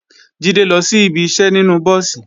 Jídé lọ sí ibi iṣẹ́ nínú búùsì